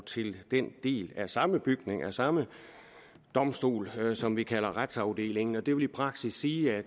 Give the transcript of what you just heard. til den del af samme bygning af samme domstol som vi kalder retsafdelingen det vil i praksis sige at